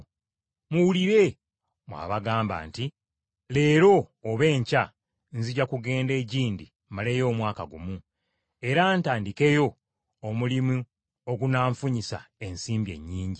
Muwulire mmwe abagamba nti, “Leero oba enkya nzija kugenda egindi maleyo omwaka gumu, era ntandikeyo omulimu ogunanfunyisa ensimbi ennyingi.”